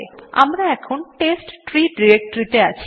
আমরা এখন test tree directory তে আছি